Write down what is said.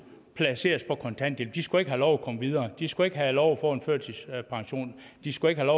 placeres på kontanthjælp de skulle ikke have lov til at komme videre de skulle ikke have lov til at få en førtidspension de skulle ikke have